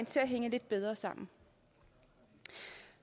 til at hænge lidt bedre sammen